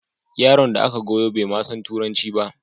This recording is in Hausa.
Yaron da aka goyo bai ma san Turanci ba